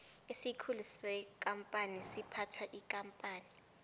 isikhulu sekampani siphatha ikampani